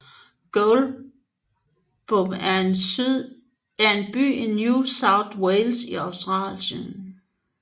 Goulburn er en by i New South Wales i Australien